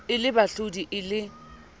e le bahlodi e le